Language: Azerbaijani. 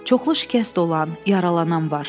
Çoxlu şikəst olan, yaralanan var.